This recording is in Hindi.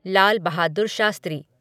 लाल बहादुर शास्त्री